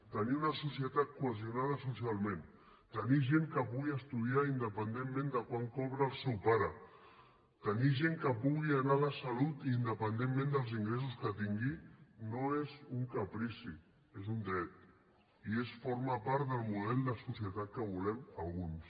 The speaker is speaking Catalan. tenir una societat cohesionada socialment tenir gent que pugui estudiar independentment de quant cobra el seu pare tenir gent que pugui anar a la salut independentment dels ingressos que tingui no és un caprici és un dret i forma part del model de societat que volem alguns